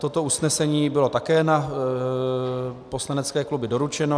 Toto usnesení bylo také na poslanecké kluby doručeno.